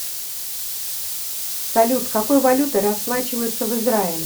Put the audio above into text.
салют какой валютой расплачиваются в израиле